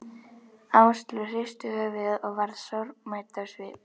Áslaug hristi höfuðið og var sorgmædd á svipinn.